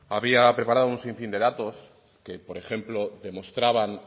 había preparado un sinfín de datos que por ejemplo demostraban